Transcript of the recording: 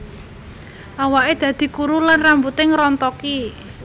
Awake dadi kuru lan rambute ngrontoki